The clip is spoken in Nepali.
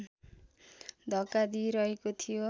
धक्का दिइरहेको थियो